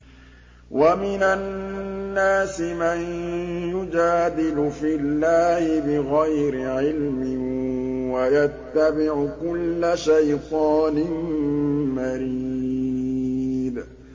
وَمِنَ النَّاسِ مَن يُجَادِلُ فِي اللَّهِ بِغَيْرِ عِلْمٍ وَيَتَّبِعُ كُلَّ شَيْطَانٍ مَّرِيدٍ